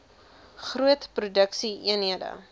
groot produksie eenhede